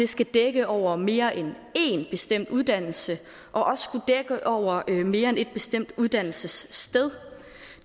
skal dække over mere end én bestemt uddannelse og også over mere end ét bestemt uddannelsessted